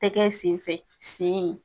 Tɛgɛ sen fɛ sen